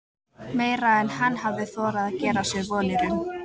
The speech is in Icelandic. Meira en hann hafði þorað að gera sér vonir um.